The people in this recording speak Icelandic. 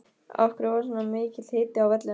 Af hverju var svona mikill hiti á vellinum?